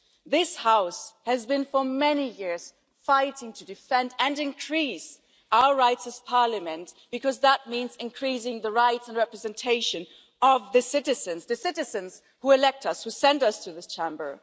This House has been for many years fighting to defend and increase our rights as Parliament, because that means increasing the rights and representation of the citizens, the citizens who elect us, who send us to this Chamber.